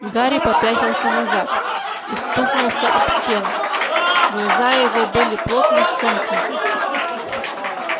гарри попятился назад и стукнулся об стену глаза его были плотно сомкнуты